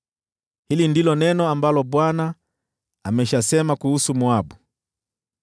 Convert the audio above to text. Hili ndilo neno ambalo Bwana ameshasema kuhusu Moabu.